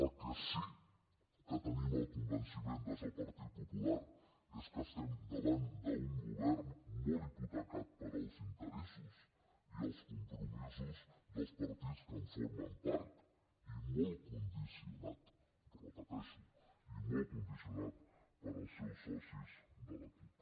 el que sí que tenim el convenciment des del partit popular és que estem davant d’un govern molt hipotecat pels interessos i els compromisos dels partits que en formen part i molt condicionat ho repeteixo i molt condicionat pels seus socis de la cup